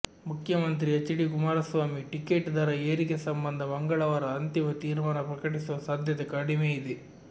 ಮುಖ್ಯಮಂತ್ರಿ HD Kumaraswamy ticket ದರ ಏರಿಕೆ ಸಂಬಂಧ ಮಂಗಳವಾರ ಅಂತಿಮ ತೀರ್ಮಾನ ಪ್ರಕಟಿಸುವ ಸಾಧ್ಯತೆ ಕಡಿಮೆ ಇದೆ